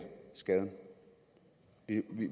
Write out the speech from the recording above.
skade